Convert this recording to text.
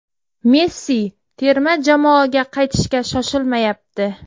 Messi terma jamoaga qaytishga shoshilmayapti.